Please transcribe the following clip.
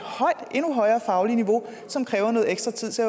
endnu højere fagligt niveau som kræver noget ekstra tid så